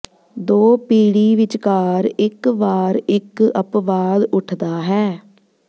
ਦੋ ਪੀੜ੍ਹੀ ਵਿਚਕਾਰ ਇੱਕ ਵਾਰ ਇੱਕ ਅਪਵਾਦ ਉੱਠਦਾ ਹੈ